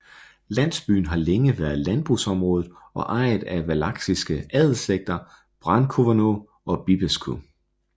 Landsbyen har længe været landbrugsområde og ejet af Valakiske adelsslægter Brâncoveanu og Bibescu